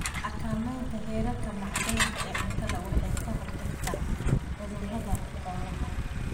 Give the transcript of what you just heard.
Xakamaynta heerarka macdanta ee cuntada waxay ka hortagtaa cudurrada xoolaha.